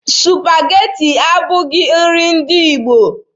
Supageti abụghị nri ndị Igbo.